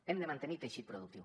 hem de mantenir teixit productiu